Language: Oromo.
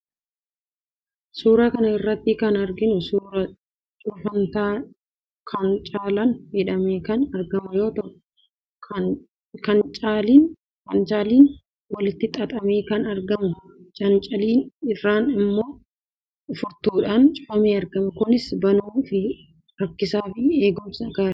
Suuraa kana irratti kan arginu suuraa cufantaa cancalaan hidhamee kan argamu yoo ta'u, cancalichis walitti xaxamee kan argamudha. Cancalicha irraan immoo furtuudhaan cufamee argama. Kunis banuu fi rakkisaa fi eegumsaaf gaariidha.